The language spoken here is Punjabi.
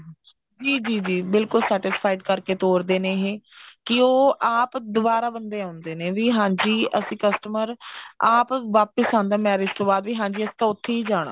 ਜੀ ਜੀ ਜੀ ਬਿਲਕੁਲ satisfied ਕਰਕੇ ਤੋਰ ਦੇ ਨੇ ਕਿ ਉਹ ਆਪ ਦਵਾਰਾ ਬੰਦੇ ਆਉਂਦੇ ਨੇ ਵੀ ਹਾਂਜੀ ਅਸੀਂ customer ਆਪ ਵਾਪਿਸ ਆਉਂਦਾ marriage ਤੋਂ ਬਾਅਦ ਵੀ ਹਾਂਜੀ ਅਸੀਂ ਉੱਥੇ ਹੀ ਜਾਣਾ